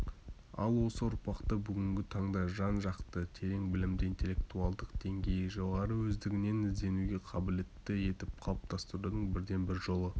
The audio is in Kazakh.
ал осы ұрпақты бүгінгі таңда жан-жақты терең білімді интеллектуалдық деңгейі жоғары өздігінен ізденуге қабілетті етіп қалыптастырудың бірден-бір жолы